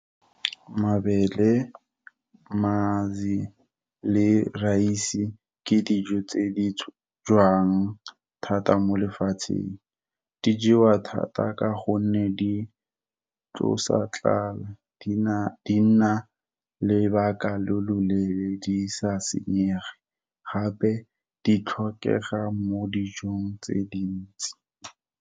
Mabele, mazi, le raise di ke dijo tse di jowang thata mo lefatsheng. Di jewa thata ka gonne di tsosa tlala, di nna lebaka lo loleele di sa senyege, gape di tlhokega mo dijong tse dintsi.